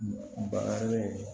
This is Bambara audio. Bagare